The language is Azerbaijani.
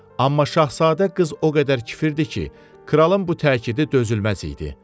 Amma şahzadə qız o qədər kifir idi ki, kralın bu təkidi dözülməz idi.